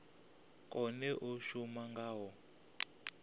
kone u shuma nga u